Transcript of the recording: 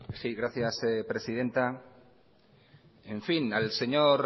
sí gracias presidenta en fin al señor